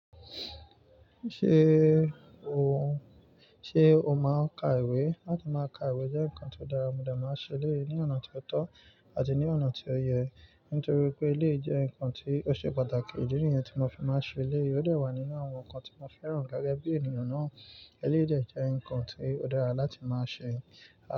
Ṣé òun, sé o máa ka ìwé? Látí máa ka ìwé jẹ́ nǹkan tí ó dára, mo dà máa ń ṣe lé ní ọ̀nà tí ó tọ́ àti ní ọ̀nà tí ó yẹ. Nítorí pé eléyìí jẹ́ nǹkan tí ó ṣe pàtàkì, ìdí rí yẹn tí mo fi máa ń ṣe eléyìí, ó dẹ̀ wà nínú àwọn nǹkan tí mo fẹ́ràn gẹgẹ bí ènìyàn náà. Eléyìí dẹ̀ jẹ́ nǹkan tí ó dára láti máa ṣe.